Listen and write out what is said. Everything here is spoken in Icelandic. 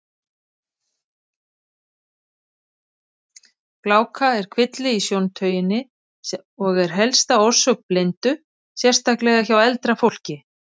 Gláka er kvilli í sjóntauginni og er helsta orsök blindu, sérstaklega hjá eldra fólki.